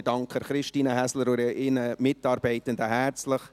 Ich danke Christine Häsler und ihren Mitarbeitenden herzlich.